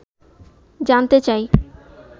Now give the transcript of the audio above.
জানতে চাই